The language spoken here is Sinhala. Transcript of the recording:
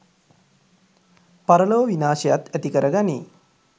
පරලොව විනාශයත් ඇතිකර ගනියි.